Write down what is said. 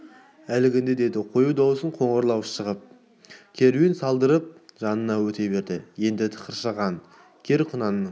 әлгіңде деді қою дауысы қоңырлау шығып керуен салдыртып жанынан өте берді енді тықыршыған кер құнанның